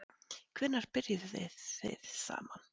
Hvenær byrjuðuð þið saman?